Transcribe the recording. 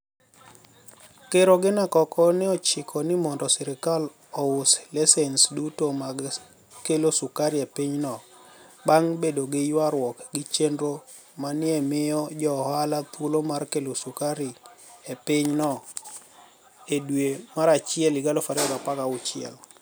Ker Oginia koko ni e ochiko nii monido sirkal ous lisenis duto mag kelo sukari e piny no banig ' bedo gi ywaruok gi cheniro ma ni e miyo jo ohala thuolo mar kelo sukari e piny no edwe marachiel 2016,.